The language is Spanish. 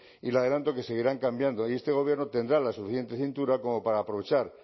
y le adelanto que seguirán cambiando y este gobierno tendrá la suficiente cintura como para aprovechar